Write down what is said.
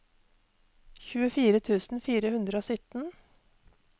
tjuefire tusen fire hundre og sytten